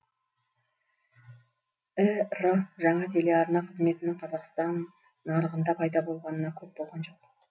ір жаңа телеарна қызметінің қазақстан нарығында пайда болғанына көп болған жоқ